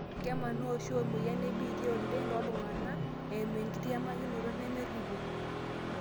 Kemanaa oshi emoyian e HIV oleng toltungani ota eimu enkitiamakinoto nemeripo.